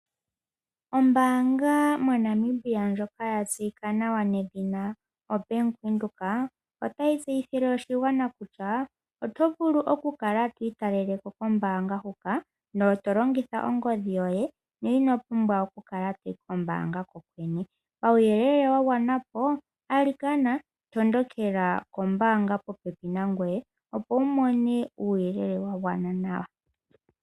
Ombaanga yobank Windhoek otayi tseyithile oshigwana kutya oto vulu oku kala twiitaleĺeko kombaanga huka tolongitha ongodhi yoye, ino pumbwa oku kala toyi kombaanga kehe ethimbo. Kuuyelele wagwedhwa po tondokela kombaanga kehe yìli popepi nangoye.